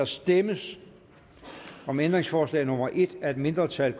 stemmes om ændringsforslag nummer en af et mindretal